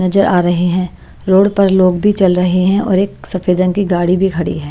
नजर आ रहे हैं रोड पर लोग भी चल रहे हैं और एक सफेद रंग की गाड़ी भी खड़ी है।